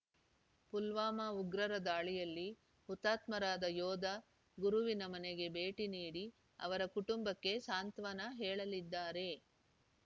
ಪುಲ್ವಾಮ ಉಗ್ರರ ದಾಳಿಯಲ್ಲಿ ಹುತಾತ್ಮರಾದ ಯೋಧ ಗುರುವಿನ ಮನೆಗೆ ಭೇಟಿ ನೀಡಿ ಅವರ ಕುಟುಂಬಕ್ಕೆ ಸಾಂತ್ವನ ಹೇಳಲಿದ್ದಾರೆ